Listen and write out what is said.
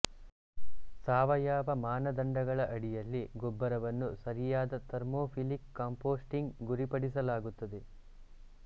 ಸಾವಯವ ಮಾನದಂಡಗಳ ಅಡಿಯಲ್ಲಿ ಗೊಬ್ಬರವನ್ನು ಸರಿಯಾದ ಥರ್ಮೋಫಿಲಿಕ್ ಕಾಂಪೋಸ್ಟಿಂಗ್ ಗುರಿಪಡಿಸಲಾಗುತ್ತದೆ